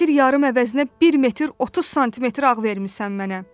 Metr yarım əvəzinə 1 metr 30 sm ağ vermisən mənə.